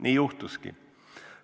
Nii juhtuski.